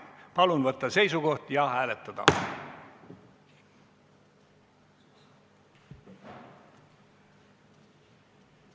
Palun võtta seisukoht ja hääletada!